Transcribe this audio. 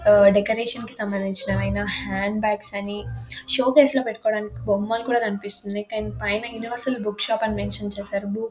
ఆహ్ డెకరేషన్ కి సంబంధింవి అయినా హ్యాండ్ బాగ్స్ అని సోకేసు లో పెట్టుకోడానికి బొమ్మలు కూడా కనిపిస్తున్నాయి పైన యూనివెర్సరీ బుక్ షాప్ అని మెన్షన్ చేసారు . బుక్ --